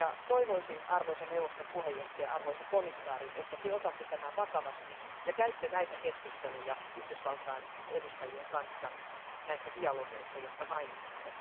Toivoisin, arvoisa neuvoston puheenjohtaja, arvoisa komissaari, että Te otatte tämän vakavasti ja käytte näitä keskusteluja Yhdysvaltain edustajien kanssa näissä dialogeissa, jotka mainitsitte.